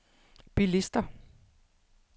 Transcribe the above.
bilister